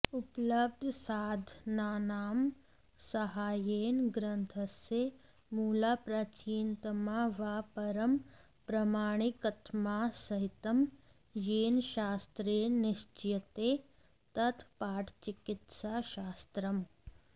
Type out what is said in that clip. उपलब्धसाधनानां साहाय्येन ग्रन्थस्य मूला प्राचीनतमा वा परं प्रामाणिकतमा संहिता येन शास्त्रेण निश्चियते तत् पाठचिकित्साशास्त्रम्